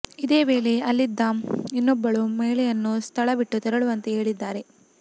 ಇದೇ ವೇಳೆ ಅಲ್ಲಿದ್ದ ಇನ್ನೊಬ್ಬಳು ಮಹಿಳೆಯನ್ನು ಸ್ಥಳ ಬಿಟ್ಟು ತೆರಳುವಂತೆ ಹೇಳಿದ್ದಾರೆ